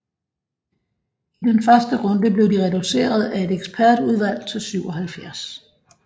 I den første runde blev de reduceret af et ekspertudvalg til 77